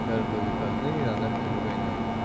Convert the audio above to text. каждые выходные она к нему гоняет